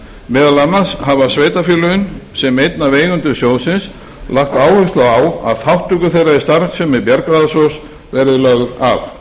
meðal annars hafa sveitarfélögin sem einn af eigendum sjóðsins lagt áherslu á að þátttöku þeirra í starfsemi verðbréfasjóðs verði lögð af